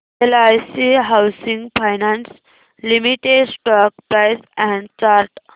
LIC housing finance limited stock price and chart